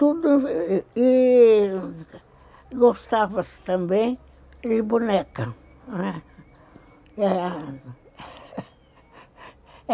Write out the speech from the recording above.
Tudo, e gostava-se também de boneca, não é?